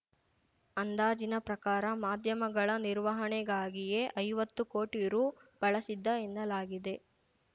ಅಂದಾಜಿನ ಪ್ರಕಾರ ಮಾಧ್ಯಮಗಳ ನಿರ್ವಹಣೆಗಾಗಿಯೇ ಐವತ್ತು ಕೋಟಿ ರು ಬಳಸಿದ್ದ ಎನ್ನಲಾಗಿದೆ